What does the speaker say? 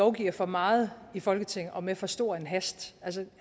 lovgiver for meget i folketinget og med for stor en hast